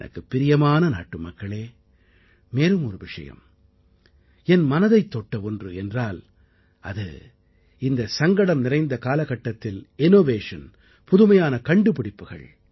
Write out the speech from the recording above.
எனக்குப் பிரியமான நாட்டுமக்களே மேலும் ஒரு விஷயம் என் மனதைத் தொட்ட ஒன்று என்றால் அது இந்த சங்கடம் நிறைந்த காலகட்டத்தில் இன்னோவேஷன் புதுமையான கண்டுபிடிப்புகள்